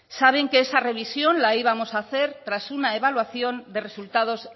saben que esa revisión la íbamos a hacer tras una evaluación de resultados